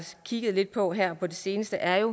kigget lidt på her på det seneste er